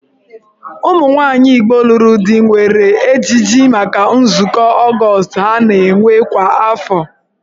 Ụmụnwaanyị Igbo lụrụ di nwere ejiji maka nzukọ Ọgọọst ha na-enwe kwa afọ.